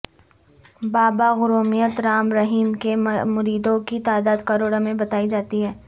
بابا گرومیت رام رحیم کے مریدوں کی تعداد کروڑوں میں بتائی جاتی ہے